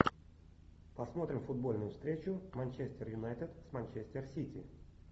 посмотрим футбольную встречу манчестер юнайтед с манчестер сити